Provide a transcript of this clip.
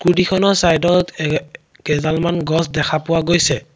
Scooty খনৰ চাইডত এ কেইদালমন গছ দেখা পোৱা গৈছে।